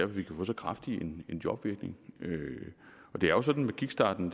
vi kan få så kraftig en jobvirkning og det er jo sådan med kickstarten